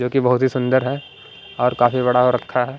जो कि बहुत ही सुंदर है और काफी बड़ा हो रखा है।